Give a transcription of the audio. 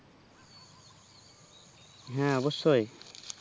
হ্যাঁ অবশ্যই